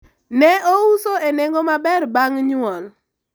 ne ouso e nengo maber bang' nyuol